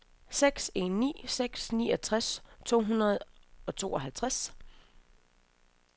seks en ni seks niogtres to hundrede og tooghalvtreds